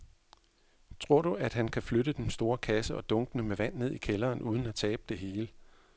Tror du, at han kan flytte den store kasse og dunkene med vand ned i kælderen uden at tabe det hele?